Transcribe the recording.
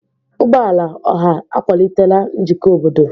Ụgbọ ala ọha akwalitela njikọ obodo.